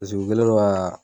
u kɛlen don ka